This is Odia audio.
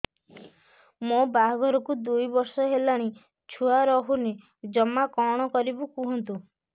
ମୋ ବାହାଘରକୁ ଦୁଇ ବର୍ଷ ହେଲାଣି ଛୁଆ ରହୁନି ଜମା କଣ କରିବୁ କୁହନ୍ତୁ